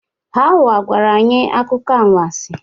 Hauwa gwara anyị akụkọ anwansi